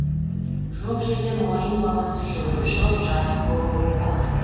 жоқ жерден ойын баласы жүгіріп шығып жазым болуы оп оңай